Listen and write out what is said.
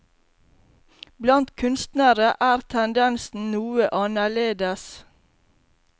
Blant kunstnere er tendensen noe annerledes.